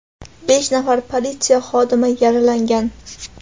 besh nafar politsiya xodimi yaralangan.